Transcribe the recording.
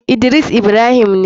Idris ibrahim ne.